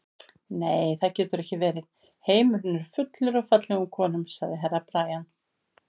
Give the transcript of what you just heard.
Nei, það getur ekki verið, heimurinn er fullur af fallegum konum, sagði Herra Brian.